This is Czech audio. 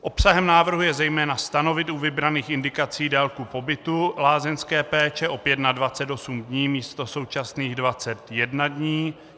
Obsahem návrhu je zejména stanovit u vybraných indikací délku pobytu lázeňské péče opět na 28 dní místo současných 21 dní.